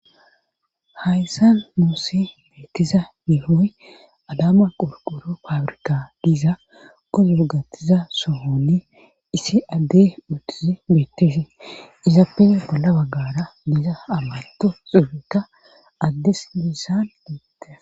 Hayssan muuse beettiza mihooyi adama qorqoro pabrika diiza kozu gattiza sohonni issi adde uttizi beettize izappene bolla baggara diiza ammanto xubekka addes miissan ieteza